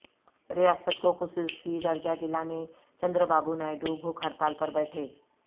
ریاست کو خصوصی درجہ دلانے چندر بابو نائیڈوبھوک ہڑتال پر بیٹھے